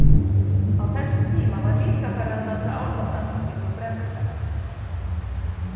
Á þessum tíma var líka farið að dansa álfadans kringum brennurnar.